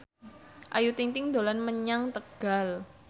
Ayu Ting ting dolan menyang Tegal